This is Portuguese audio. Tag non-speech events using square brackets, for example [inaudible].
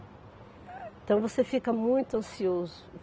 [unintelligible] Então, você fica muito ansioso.